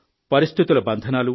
పరిస్థితుల బంధనాలు